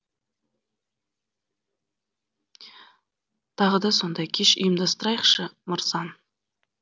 тағы да сондай кеш ұйымдастырайықшы мырзан